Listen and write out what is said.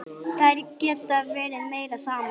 Þær geta verið meira saman.